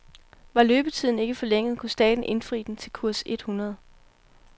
Var løbetiden ikke forlænget, kunne staten indfri den til kurs et hundrede.